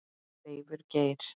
Leifur Geir.